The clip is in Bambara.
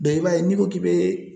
i b'a ye n'i ko k'i bɛ